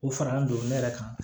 O fara an bolo ne yɛrɛ kan